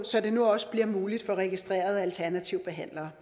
så det nu også bliver muligt for registrerede alternative behandlere